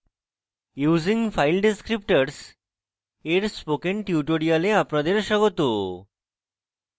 using file descriptors dear spoken tutorial আপনাদের স্বাগত